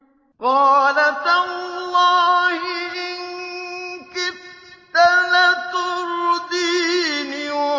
قَالَ تَاللَّهِ إِن كِدتَّ لَتُرْدِينِ